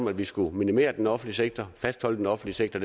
at vi skulle minimere den offentlige sektor fastholde den offentlige sektor